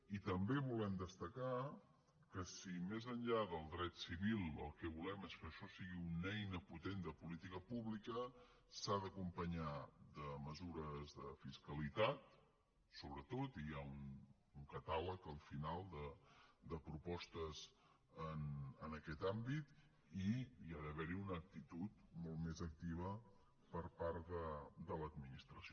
i també volem destacar que si més enllà del dret civil el que volem és que això sigui una eina potent de política pública s’ha d’acompanyar de mesures de fiscalitat sobretot i hi ha un catàleg al final de propostes en aquest àmbit i ha d’haver hi una actitud molt més activa per part de l’administració